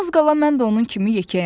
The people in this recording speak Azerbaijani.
Az qala mən də onun kimi yekəyəm.